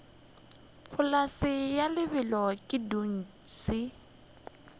polase ya lebelo ke dutše